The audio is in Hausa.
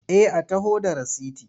Eh a taho da rasiti.